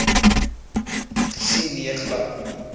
gesien nee glad